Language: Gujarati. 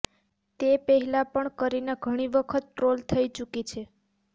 તે પહેલા પણ કરીના ઘણી વખત ટ્રોલ થઇ ચુકી છે